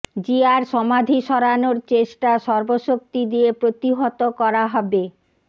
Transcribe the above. জিয়ার সমাধি সরানোর চেষ্টা সর্বশক্তি দিয়ে প্রতিহত করা হবে